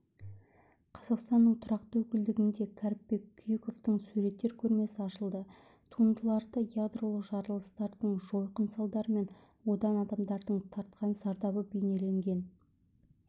қазақстанның тұрақты өкілдігінде кәріпбек күйіковтің суреттер көрмесі ашылды туындыларда ядролық жарылыстардың жойқын салдары мен одан адамдардың тартқан зардабы бейнеленген